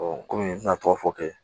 kɔmi n tɛna tɔgɔ fɔ kɛ